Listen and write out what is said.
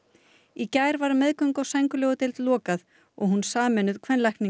í gær var meðgöngu og sængurlegudeild lokað og hún sameinuð